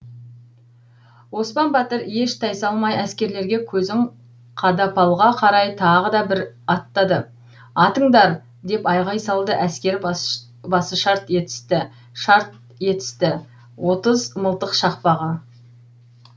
оспан батыр еш тайсалмай әскерлерге көзін қадапалға қарай тағы да бір аттады атыңдар деп айғай салды әскер басышарт етісті шарт етісті отыз мылтық шақпағы